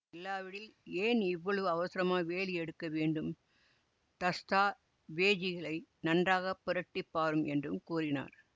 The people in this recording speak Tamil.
இல்லாவிடில் ஏன் இவ்வளவு அவசரமாக வேலி எடுக்க வேண்டும் தஸ்தாவேஜிகளை நன்றாக புரட்டி பாரும் என்றும் கூறினார்